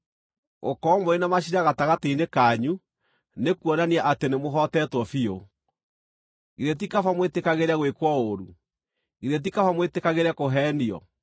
Gũkorwo mũrĩ na maciira gatagatĩ-inĩ kanyu nĩkuonania atĩ nĩmũhootetwo biũ. Githĩ ti kaba mwĩtĩkagĩre gwĩkwo ũũru? Githĩ ti kaba mwĩtĩkagĩre kũheenio?